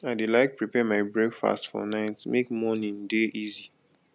i dey like prepare my breakfast for night make morning dey easy